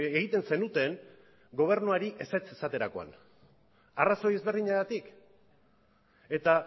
egiten zenuten gobernuari ezetz esaterakoan arrazoi ezberdinagatik eta